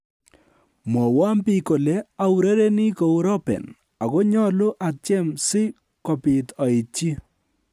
"Mwowon biik kole aurereni kou Robben, ago nyolu atyem si kobiit aityi."